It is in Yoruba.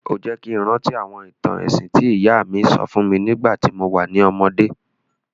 O jẹ́ ki n rántí àwọn ìtàn ẹ̀sìn ti ìyá mi sọ fún mi nígbàtí mo wa ni ọmọdé.